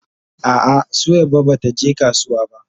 A'a Suwaiba bata je kasuwa ba.